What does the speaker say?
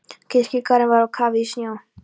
Kirkjugarðurinn var á kafi í snjó.